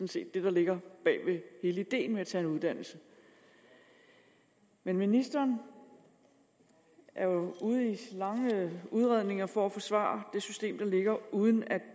set det der ligger bag ved hele ideen med at tage en uddannelse men ministeren er jo ude i lange udredninger for at forsvare det system der ligger uden at